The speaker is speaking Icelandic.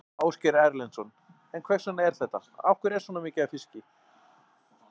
Ásgeir Erlendsson: En hvers vegna er þetta, af hverju er svona mikið af fiski?